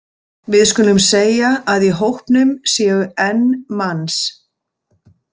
Við skulum segja að í hópnum séu n manns.